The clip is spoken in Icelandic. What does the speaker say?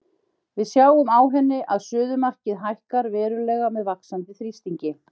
Við sjáum á henni að suðumarkið hækkar verulega með vaxandi þrýstingi.